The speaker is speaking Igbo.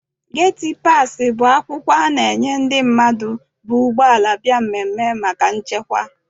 Geti paasị bụ akwụkwọ a na- enye ndị bu ụgbọala bịa mmemme maka nchekwa.